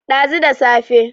dazu da safe